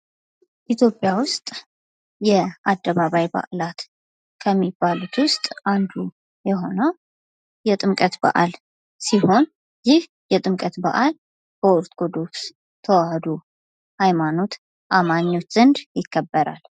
ኢትዮጵያ ዉስጥ የአደባባይ በአላት ከሚባሉት ዉስጥ አንዱ የሆነው የጥምቀት በአል ሲሆን ይህ የጥምቀት በአል በኦርቶዶክስ ተዋህዶ አማኞች ዘንድ ይከበራል።